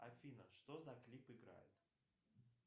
афина что за клип играет